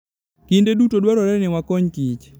Kinde duto, dwarore ni wakony kich .